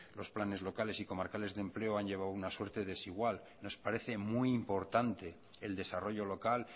los planes locales y comarcales de empleo han llevado una suerte desigual nos parece muy importante el desarrollo local